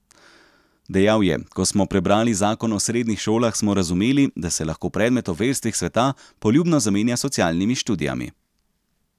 Dejal je: 'Ko smo prebrali zakon o srednjih šolah, smo razumeli, da se lahko predmet o verstvih sveta poljubno zamenja s socialnimi študijami.